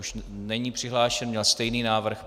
Už není přihlášen, měl stejný návrh.